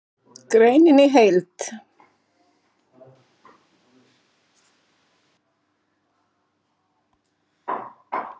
Greinin í heild